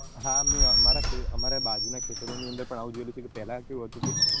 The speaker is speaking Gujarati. હા મેં અમારા બાજુ માં ખેતરો ની અંદર પણ આવું જોઈલું કે પેલાં કેવું હતું કે